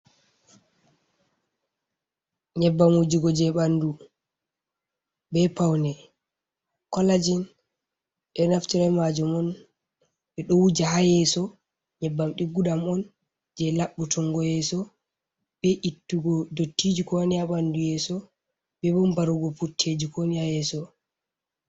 Nyebbam wujugo je ɓanɗu be paune, collajin ɓeɗo naftira be majum on ɓe ɗo wuja ha yeso, nyebbam diggu ɗam on, je labbutungo yeso, be ittugo dottiji, kowo ni ha ɓanɗu yeso, be bo barugo putteji ko woni ha yeso.